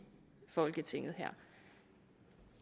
folketinget